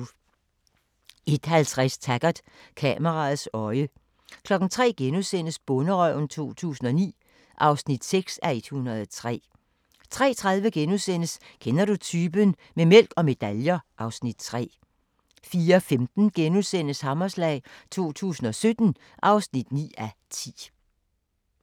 01:50: Taggart: Kameraets øje 03:00: Bonderøven 2009 (6:103)* 03:30: Kender du typen? - med mælk og medaljer (Afs. 3)* 04:15: Hammerslag 2017 (9:10)*